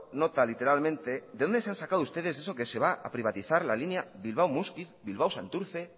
nota literalmente de dónde se han sacado ustedes eso que se va a privatizar la línea bilbao muskiz bilbao santurce